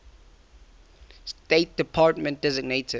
state department designated